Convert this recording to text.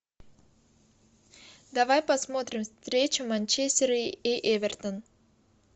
давай посмотрим встречу манчестер и эвертон